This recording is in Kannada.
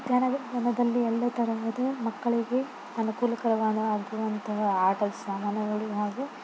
ಧ್ಯಾನ್ವಿಕ್ ಧರ್ಮದಲ್ಲಿ ಎಲ್ಲಾತರದ ಮಕ್ಕಳಿಗೆ ಅನುಕೂಲಕರವಾದ ಆಟದ ಸಾಮಾನುಗಳು ಹಾಗೂ--